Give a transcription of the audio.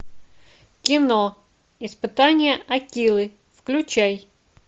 кино испытание акилы включай